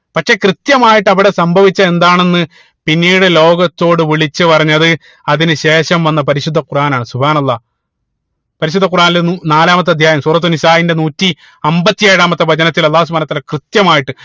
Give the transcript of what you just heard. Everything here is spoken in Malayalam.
പക്ഷേ കൃത്യമായിട്ട് അവിടെ സംഭവിച്ചത് എന്താണെന്ന് പിന്നീട് ലോകത്തോട് വിളിച്ച് പറഞ്ഞത് അതിനു ശേഷം വന്ന പരിശുദ്ധ ഖുറാൻ ആണ് അള്ളാഹ് പരിശുദ്ധ ഖുറാനിൽ നൂ നാലാമത്തെ അധ്യായം സൂറത്തുൽ നിസാഇന്റെ നൂറ്റി അമ്പത്തി ഏഴാമത്തെ വചനത്തിൽ അള്ളാഹു സുബ്‌ഹാനഉ വതാല കൃത്യമായിട്ട്